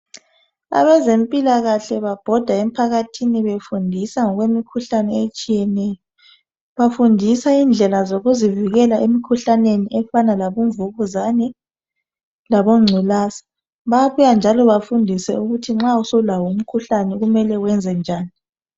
Abezempilakahle babhoda emphakathini befundisa ngokwemikhuhlane etshiyeneyo bafundisa indlela zokuzivikela emikhuhlaneni efana labomvukuzane labo ngculaza bayabuya njalo bafundise ukuthi nxa usulawo umkhuhlane kumele wenze njani.